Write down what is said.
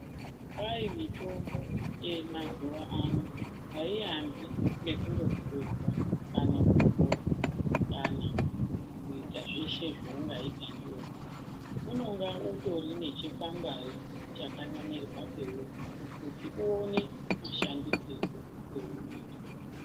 Kwai mitombo yemazuva ano haiambi ngekutorwa kana kuita zveshe zveungaita ndiyo, unonga utori ngechikwangwari chakanamirwapo peuri kuti uone mashandisirwo eunoitwaa.